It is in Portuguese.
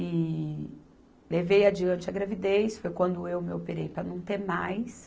E... Levei adiante a gravidez, foi quando eu me operei para não ter mais.